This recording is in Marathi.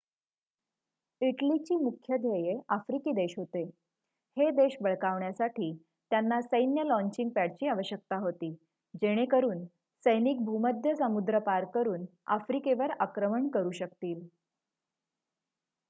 इटलीची मुख्य ध्येये आफ्रिकी देश होते हे देश बळकावण्यासाठी त्यांना सैन्य लॉचिंग पॅडची आवश्यकता होती जेणेकरुन सैनिक भूमध्य समुद्र पार करुन आफ्रिकेवर आक्रमण करु शकतील